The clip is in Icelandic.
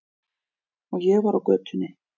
Og ég var á götunni.